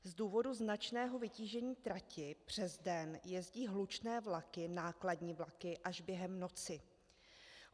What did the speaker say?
Z důvodu značného vytížení trati přes den jezdí hlučné vlaky, nákladní vlaky až během noci.